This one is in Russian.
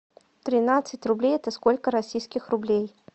тринадцать рублей это сколько российских рублей